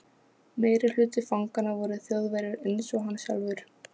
Meirihluti fanganna voru Þjóðverjar einsog hann sjálfur.